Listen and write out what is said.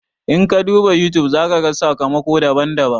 In ka duba YouTube, za ka gan sakamako daban-daban.